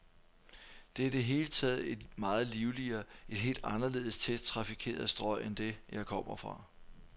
Det er i det hele taget et meget livligere, et helt anderledes tæt trafikeret strøg end det, jeg kom fra.